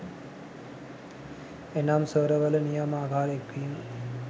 එනම් ස්වර වල නියමාකාර එක්වීම